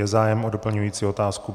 Je zájem o doplňující otázku?